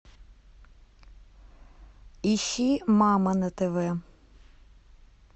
ищи мама на тв